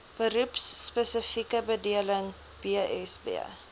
beroepspesifieke bedeling bsb